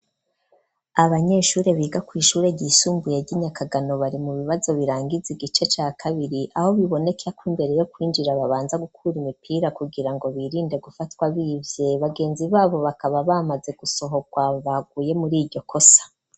Abanyeshure biga kw'ishure ryisumbuye ry'inyakagano bari mu bibazo birangiza igice ca kabiri aho biboneke ko imbere yo kwinjira babanza gukura imipira kugira ngo birinde gufatwa bibye bagenzi babo bakaba bamaze gusohorwa baguye muri iryo kosa.